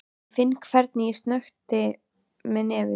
Ég finn hvernig ég snökti með nefinu.